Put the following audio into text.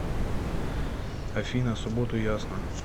афина субботу ясно